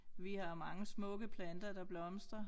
Vi har mange smukke planter der blomstrer